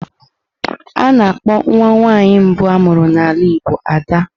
A na-akpọ nwa nwaanyị mbu amuru n'ala Igbo Ad.